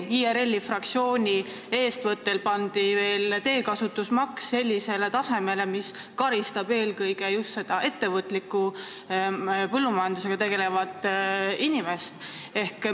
IRL-i fraktsiooni eestvedamisel pandi peale veel teekasutusmaks, mis karistab eelkõige just ettevõtlikku põllumajandusega tegelevat inimest.